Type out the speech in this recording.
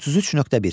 33.1.